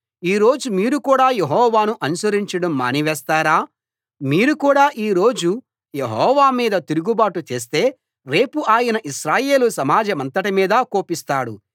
ఈ రోజు మీరు కూడా యెహోవాను అనుసరించడం మానివేస్తారా మీరు కూడా ఈ రోజు యెహోవా మీద తిరుగుబాటు చేస్తే రేపు ఆయన ఇశ్రాయేలు సమాజమంతటి మీదా కోపిస్తాడు